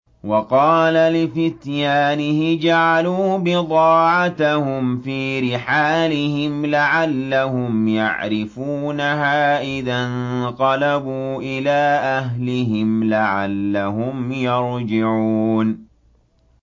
وَقَالَ لِفِتْيَانِهِ اجْعَلُوا بِضَاعَتَهُمْ فِي رِحَالِهِمْ لَعَلَّهُمْ يَعْرِفُونَهَا إِذَا انقَلَبُوا إِلَىٰ أَهْلِهِمْ لَعَلَّهُمْ يَرْجِعُونَ